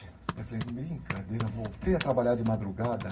Eu falei, brincadeira, voltei a trabalhar de madrugada?